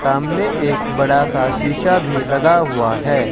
सामने एक बड़ा सा शीशा भी लगा हुआ है।